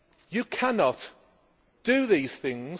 You cannot do these things